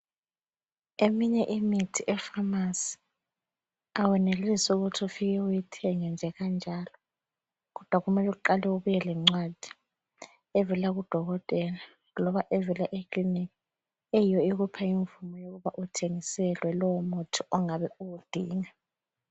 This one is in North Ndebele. Eminye imithi epharmacy awenelisi ukuthi ufike uyithenge nje kanjalo. Kodwa kumele uqale ubuye lencwadi evela kudokotela loba evela ekiliniki eyiyo ekupha imvumo ukuba uthengiselwe lowu muthi ongabe uwudinga.